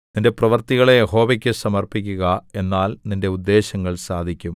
നിന്റെ പ്രവൃത്തികളെ യഹോവയ്ക്കു സമർപ്പിക്കുക എന്നാൽ നിന്റെ ഉദ്ദേശ്യങ്ങൾ സാധിക്കും